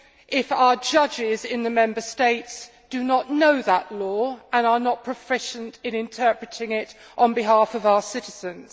if our judges in the Member States do not know that law and are not proficient in interpreting it on behalf of our citizens.